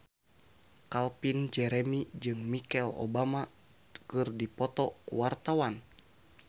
Calvin Jeremy jeung Michelle Obama keur dipoto ku wartawan